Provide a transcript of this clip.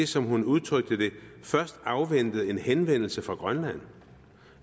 som hun udtrykte det først afventede en henvendelse fra grønland